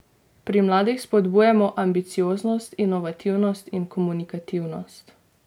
Pri mladih spodbujamo ambicioznost, inovativnost in komunikativnost.